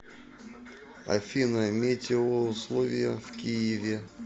афина метеоусловия в киеве